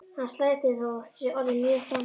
Hann slær til þó að það sé orðið mjög framorðið.